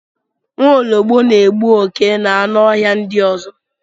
Nwaọlọgbọ na-egbu oke na anụ ọhịa ndị ọzọ